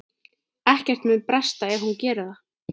Ekkert mun bresta ef hún gerir það.